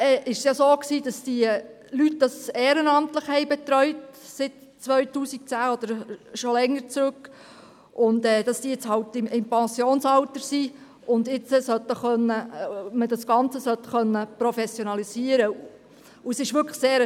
Diese Leute haben das Gotthelf-Zentrum seit 2010 oder schon länger ehrenamtlich betreut und sind nun halt im Pensionsalter, und nun sollte man das Ganze professionalisieren können.